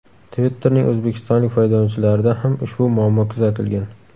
Twitter’ning o‘zbekistonlik foydalanuvchilarida ham ushbu muammo kuzatilgan.